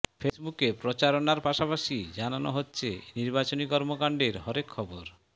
ফেসবুকে প্রচারণার পাশাপাশি জানানো হচ্ছে নির্বাচনী কর্মকাণ্ডের হরেক খবর